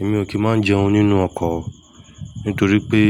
Èmi ò kì í máa ń jẹun nínú ọkọ̀ nítorí pé